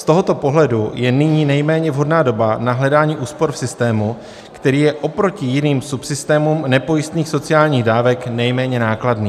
Z tohoto pohledu je nyní nejméně vhodná doba na hledání úspor v systému, který je oproti jiným subsystémům nepojistných sociálních dávek nejméně nákladný.